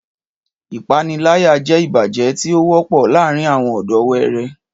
Ìpániláyà jẹ́ ìbàjẹ́ tí ó wọ́pọ̀ láàárín àwọn ọ̀dọ́ wẹẹrẹ